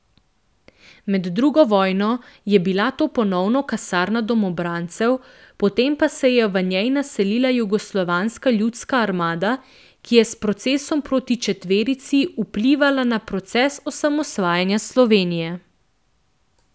Med drugo vojno je bila to ponovno kasarna domobrancev, potem pa se je v njej naselila Jugoslovanska ljudska armada, ki je s procesom proti četverici vplivala na proces osamosvajanja Slovenije.